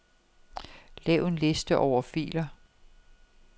Lav en liste over filer.